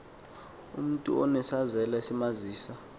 umntu unesazela esimazisa